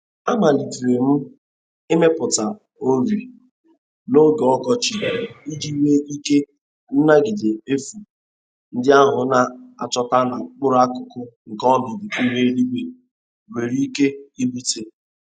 Amalitere m imepụta ori n'oge ọkọchị iji nwee ike nagide nfu ndi ahụ a na-ahụta na mkpụrụ akụkụ nke ọnọdụ ihu eluigwe nwere ike ibute.